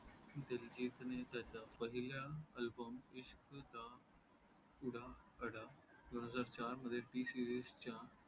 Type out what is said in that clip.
दिलजीतने त्याच्य पहिल्या album इश्क दा उडा अडा दोन हजार चार मध्ये TSeries च्या